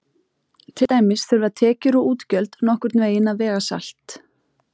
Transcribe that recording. Til dæmis þurfa tekjur og útgjöld nokkurn veginn að vega salt.